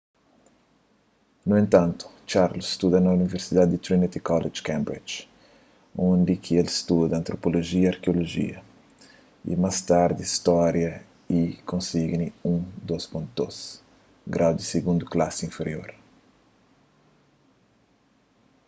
nu entantu charles studa na universidadi di trinity college cambridge undi ki el studa antropolojia y arkeolojia y más tardi stória y el konsigi un 2:2 un grau di sigundu klasi inferior